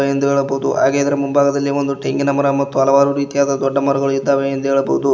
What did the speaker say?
ಎಂದು ಹೇಳಬಹುದು ಹಾಗೆ ಇದರ ಮುಂಭಾಗದಲ್ಲಿ ಒಂದು ತೆಂಗಿನ ಮರ ಮತ್ತು ಹಲವಾರು ದೊಡ್ಡ ಮರಗಳು ಇದ್ದಾವೆ ಎಂದು ಹೇಳಬಹುದು.